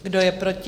Kdo je proti?